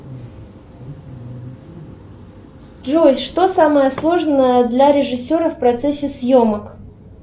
джой что самое сложное для режиссера в процессе съемок